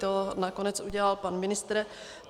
To nakonec udělal pan ministr.